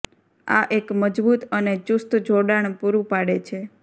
આ એક મજબૂત અને ચુસ્ત જોડાણ પૂરું પાડે છે